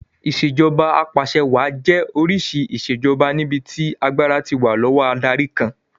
Ìṣèjoba Ap'àṣẹwàá jẹ́ oríṣi ìṣèjoba níbi tí agbára ti wà lọ́wọ́ adarí kan